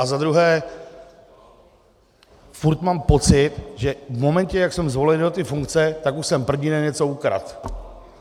A za druhé furt mám pocit, že v momentě, jak jsem zvolený do té funkce, tak už jsem první den něco ukradl.